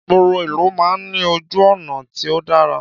Ìgboro ìlú man ní ojú ònà tí o dara